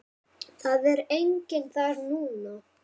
Það er enginn þar núna.